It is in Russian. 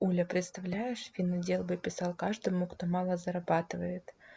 оля представляешь финотдел бы писал каждому кто мало зарабатывает